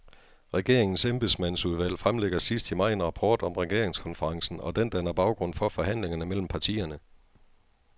Regeringens embedsmandsudvalg fremlægger sidst i maj en rapport om regeringskonferencen, og den danner baggrund for forhandlingerne mellem partierne.